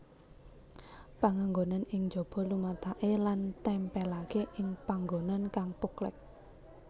Panganggonan ing jaba lumataké lan tèmpèlaké ing panggonan kang poklèk